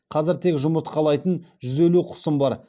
қазір тек жұмыртқалайтын жүз елу құсым бар